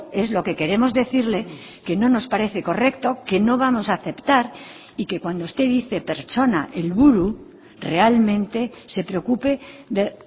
es lo que queremos decirle que no nos parece correcto que no vamos a aceptar y que cuando usted dice pertsona helburu realmente se preocupe de